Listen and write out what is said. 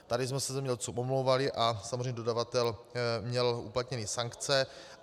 Tady jsme se zemědělcům omlouvali a samozřejmě dodavatel měl uplatněny sankce.